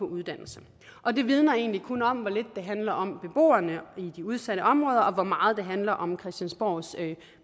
uddannelse og det vidner egentlig kun om hvor lidt det handler om beboerne i de udsatte områder og hvor meget det handler om christiansborgs